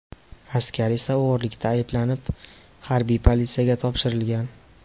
Askar esa o‘g‘irlikda ayblanib, harbiy politsiyaga topshirilgan.